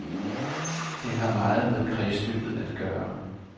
Det har meget med kredsløbet at gøre.